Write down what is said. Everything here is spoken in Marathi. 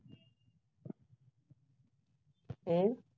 अं